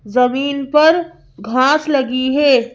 जमीन पर घास लगी है।